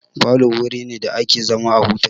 Falo wuri ne da ake zama a huta.